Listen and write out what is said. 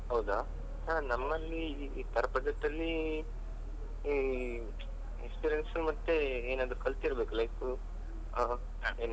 ಹೌದಾ ಸರ್ ನಮ್ಮಲ್ಲಿ ಈ per project ಅಲ್ಲೀ experience ಮತ್ತೆ ಏನಾದ್ರು ಕಲ್ತಿರ್ಬೇಕು like ಆ.